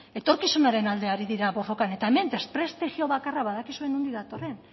etorkizunaren alde ari dira borrokan eta hemen desprestijio bakarra badakizue nondik datorren